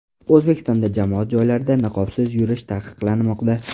O‘zbekistonda jamoat joylarida niqobsiz yurish taqiqlanmoqda.